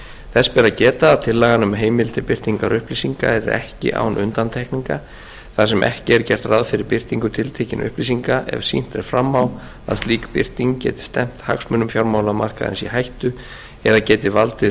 þess ber að geta að tillagan um heimild til birtingar upplýsinga er ekki án undantekninga þar sem ekki er gert ráð fyrir birtingu tiltekinna upplýsinga ef sýnt er fram á að slík birting geti stefnt hagsmunum fjármálamarkaðarins í hættu eða geti valdið